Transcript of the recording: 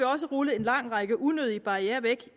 også rullet en lang række unødige barrierer